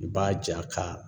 I b'a ja k'a